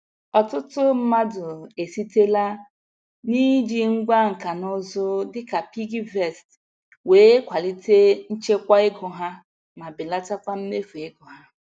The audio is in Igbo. Ọtụtụ mmadụ esitela n'iji ngwá nka na ụzụ dịka piggyvest wee kwalite nchekwa ego ha ma belatakwa mmefu ego ha.